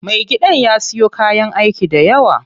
Me gidan ya siyo kayan aiki dayawa.